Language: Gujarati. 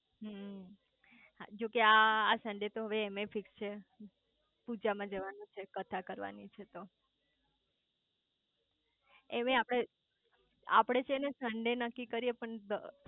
હમ્મ જો કે આ સન્ડે તો હવે એમેય ફિક્ક્ષ છે પૂજા માં જવાનું છે કથા કરવાની છે તો એમેય આપડે આપડે છે ને સન્ડે નક્કી કરીયે પણ